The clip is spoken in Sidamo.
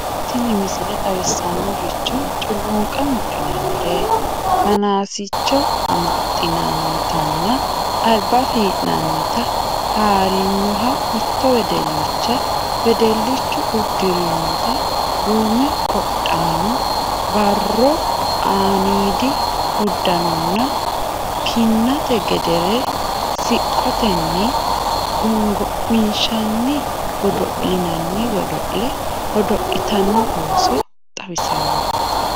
Tini misile xawissannohu culunqa mudhinannire, fanaasicho amaxxinannitanna alba fii'nannita haarinoha mitto wedellicha, wedellichu uddirinota duume qodhano, barro aaniidi uddanonna kinnate gedeere siqqotenni gongo'minshanni godo'linanni godo'le godo'litanno ooso xawissanno